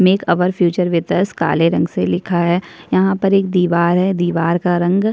make our future with us काले रंग से लिखा है यहाँ पर एक दीवार है दीवार का रंग--